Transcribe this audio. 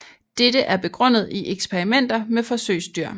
Dette er begrundet i eksperimenter med forsøgsdyr